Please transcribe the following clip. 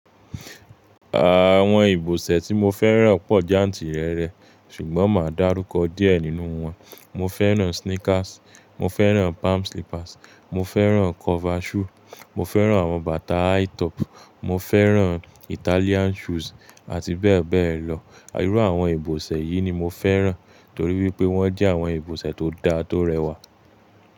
Àwọn ìbòsẹ̀ tí mo fẹ́ràn pọ̀ jantìrẹrẹ, ṣùgbọ́n máa dárúkọ díẹ̀ nínú wọn. Mo fẹ́ràn sneakers, mo fẹ́ràn palm slippers, mo fẹ́ràn cover shoe, mo fẹ́ràn àwọn bàtà high top, mo fẹ́ràn Italian shoes àti bẹ́ẹ̀ bẹ́ẹ̀ lọ. Irú àwọn ìbòsẹ̀ yìí ni mo fẹ́ràn torí pé wọ́n jẹ́ àwọn ìbòsẹ̀ tó dáa tó rẹwà.